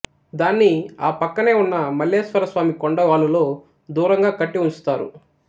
దాన్ని ఆ పక్కనే ఉన్న మల్లేశ్వర స్వామి కొండ వాలులో దూరంగా కట్టివుంచు తారు